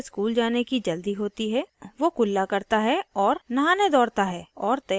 वो जल्दी से ब्रश करता है क्योंकि उसे school जाने की जल्दी होती है